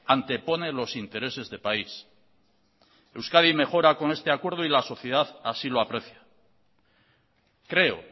antepone los intereses de país euskadi mejora con este acuerdo y la sociedad así lo aprecia creo